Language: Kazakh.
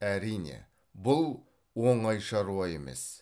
әрине бұл оңай шаруа емес